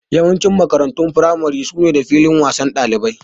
Yawancin makarantun firamare su na da filin wasan ɗalibai